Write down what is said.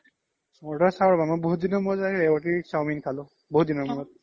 order চাও ৰবা অ মই বহুত দিনৰ মূৰত চাওমিন খালো চাওমিন খালোঁ আৰু